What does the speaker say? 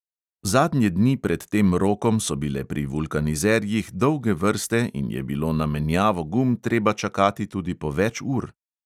Zadnje dni pred tem rokom so bile pri vulkanizerjih dolge vrste in je bilo na menjavo gum treba čakati tudi po več ur.